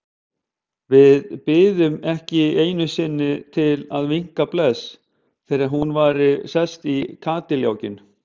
Við biðum ekki einu sinni til að vinka bless þegar hún væri sest í kádiljákinn.